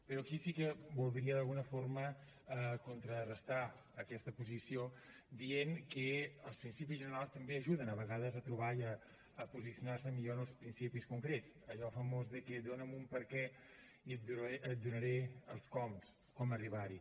però aquí sí que voldria d’alguna forma contrarestar aquesta posició dient que els principis generals també ajuden a vegades a trobar i a posicionar se millor en els principis concrets allò famós de dona’m un perquè i et donaré els coms com arribar hi